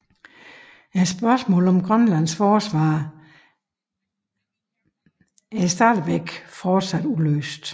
Spørgsmålet om Grønlands forsvar var imidlertid fortsat uløst